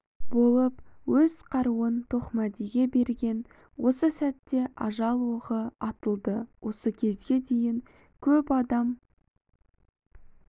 болып өз қаруын тоқмәдиге берген осы сәтте ажал оғы атылды осы кезге дейін көп адам